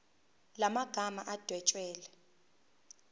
la magama adwetshelwe